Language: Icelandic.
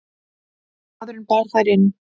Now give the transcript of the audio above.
Maðurinn bar þær inn.